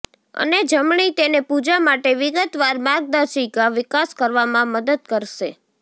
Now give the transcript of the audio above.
અને જમણી તેને પૂજા માટે વિગતવાર માર્ગદર્શિકા વિકાસ કરવામાં મદદ કરશે